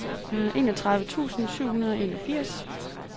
enogtredive tusind syv hundrede og enogfirs